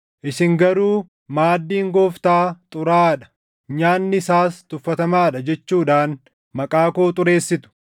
“Isin garuu maaddiin Gooftaa ‘xuraaʼaa dha’ nyaanni isaas ‘tuffatamaa dha’ jechuudhaan maqaa koo xureessitu.